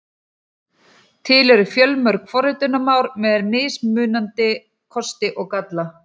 Til eru fjölmörg forritunarmál með mismunandi kosti og galla.